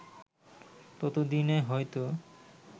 তত দিনে হয়তো